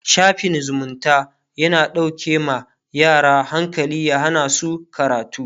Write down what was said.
shafin zumunta yana dauƙe ma yara hankali ya Hana su karatu